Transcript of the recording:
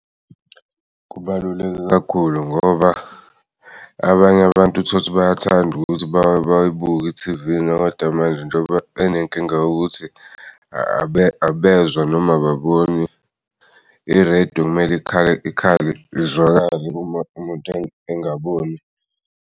Kubaluleke kakhulu ngoba abanye abantu tholukuthi bayathanda ukuthi bayibuke i-T_V kodwa manje njengoba enenkinga yokuthi abezwa noma ababoni i-radio okumele iqhale, ikhale izwakale uma umuntu engaboni.